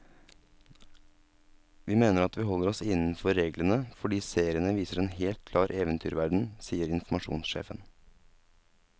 Vi mener at vi holder oss innenfor reglene, fordi seriene viser en helt klar eventyrverden, sier informasjonssjefen.